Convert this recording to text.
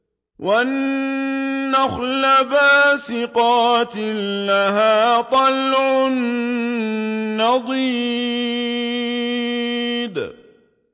وَالنَّخْلَ بَاسِقَاتٍ لَّهَا طَلْعٌ نَّضِيدٌ